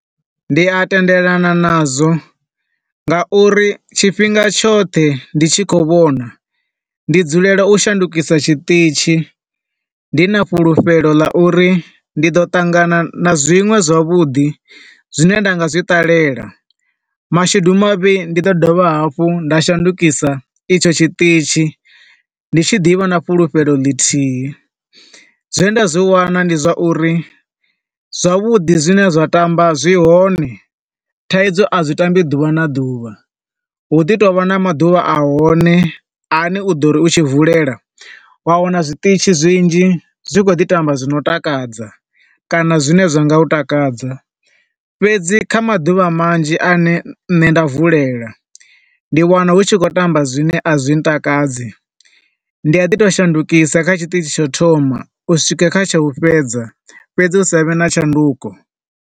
Ndi a tendelani na zwo nga uri tshifhinga tshoṱhe, ndi tshi khou vhona ndi dzulela u shandukisa tshiṱitzhi ndi na fhulufhelo ḽa uri ndi ḓo ṱangana na zwiṅwe zwavhuḓi, zwine nda nga zwiṱalela. Mashudu mavhi ndi ḓo dovha hafhu nda shandukisa etsho tshiṱitzhi, ndi tshi ḓi vha na fhulufhelo ḽithihi. Zwe nda zwi wana ndi zwa uri zwavhuḓi zwine zwa tamba zwi hone, Thaidzo a zwi tambi ḓuvha na ḓuvha. Hu ḓi tovha na maḓuvha a hone, a ne u ḓo ri u tshi vulela, wa wana zwiṱitzhi zwinzhi zwi kho ḓi tamba zwi no takadza kana zwi ne zwa nga u takadza. Fhedzi kha maḓuvha manzhi ane nne nda vulela, ndi wana hu tshi khou tamba zwine a zwi ntakadzi, ndi a ḓi to shandukisa kha tshiṱizhi tsha u thoma uswika kha tsha u fhedza, fhedzi hu sa vhe na tshanduko.